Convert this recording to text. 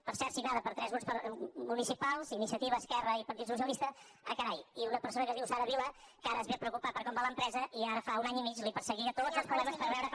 per cert signada per tres grups municipals iniciativa esquerra i partit socialista ah carai i una persona que es diu sara vilà que ara es ve a preocupar per com va la empresa i ara fa un any i mig perseguia tots els problemes per veure com